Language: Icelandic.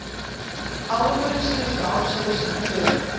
Árangurinn síðustu ár segir sína sögu.